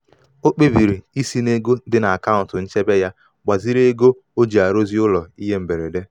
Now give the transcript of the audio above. o kpebiri isi n'ego dị isi n'ego dị n'akaụntụ nchebe ya gbaziri ego o ji arụzi ụlọ ihe mberede.